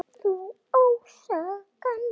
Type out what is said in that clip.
Þú ásakar mig.